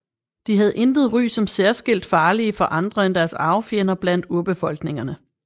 De havde intet ry som særskilt farlige for andre end deres arvefjender blandt urbefolkningerne